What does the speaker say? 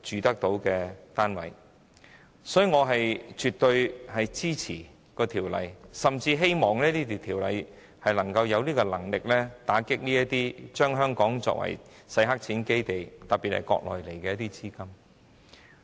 因此，我絕對支持《條例草案》，甚至希望《條例草案》有能力打擊將香港變成洗黑錢基地的資金流入。